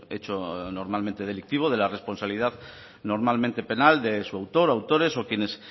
hecho normalmente delictivo de la responsabilidad normalmente penal de su autor autores o quienes